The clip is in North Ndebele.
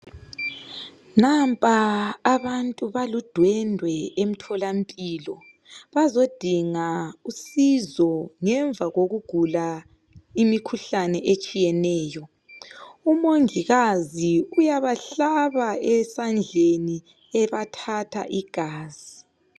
Nampa abantu baludwendwe emtholampilo, bazodinga usizo ngemva kokugula imikhuhlane etshiyeneyo. Umongikazi uyabahlaba esandleni ebathatha igazi